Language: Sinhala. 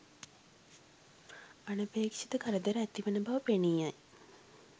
අනපේක්ෂිත කරදර ඇතිවන බව පෙනී යයි.